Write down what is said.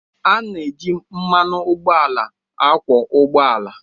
A na-eji mmanụ ụgbọala akwọ ụgbọ ala